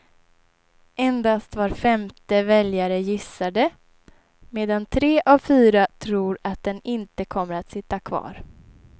Endast var femte väljare gissar det, medan tre av fyra tror att den inte kommer att sitta kvar.